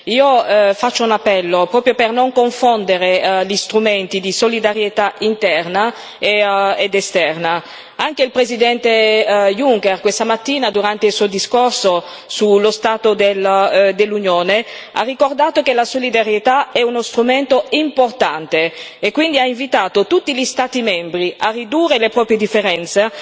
Io faccio un appello proprio per non confondere gli strumenti di solidarietà interna ed esterna. Anche il Presidente Juncker, questa mattina, durante il suo discorso sullo stato dell'Unione, ha ricordato che la solidarietà è uno strumento importante e quindi ha invitato tutti gli Stati membri a ridurre le proprie differenze